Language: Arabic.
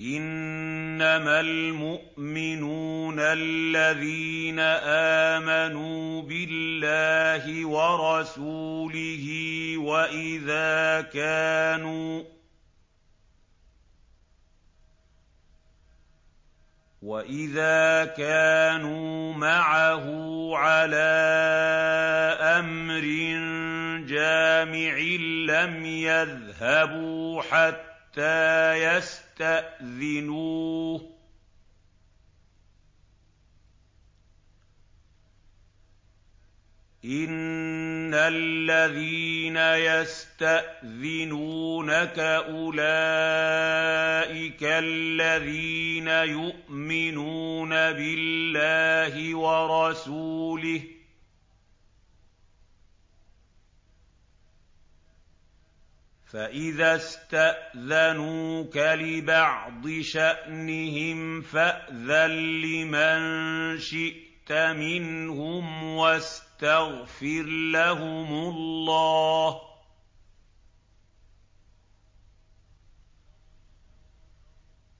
إِنَّمَا الْمُؤْمِنُونَ الَّذِينَ آمَنُوا بِاللَّهِ وَرَسُولِهِ وَإِذَا كَانُوا مَعَهُ عَلَىٰ أَمْرٍ جَامِعٍ لَّمْ يَذْهَبُوا حَتَّىٰ يَسْتَأْذِنُوهُ ۚ إِنَّ الَّذِينَ يَسْتَأْذِنُونَكَ أُولَٰئِكَ الَّذِينَ يُؤْمِنُونَ بِاللَّهِ وَرَسُولِهِ ۚ فَإِذَا اسْتَأْذَنُوكَ لِبَعْضِ شَأْنِهِمْ فَأْذَن لِّمَن شِئْتَ مِنْهُمْ وَاسْتَغْفِرْ لَهُمُ اللَّهَ ۚ